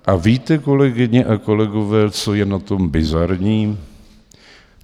A víte, kolegyně a kolegové, co je na tom bizarní?